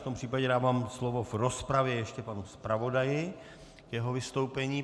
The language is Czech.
V tom případě dávám slovo v rozpravě ještě panu zpravodaji k jeho vystoupení.